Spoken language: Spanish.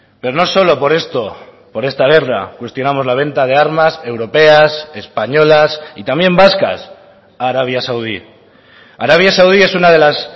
pero no solo por esto por esta guerra cuestionamos la venta de armas europeas españolas y también vascas a arabia saudí arabia saudí es una de las